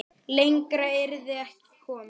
Lengra yrði ekki komist.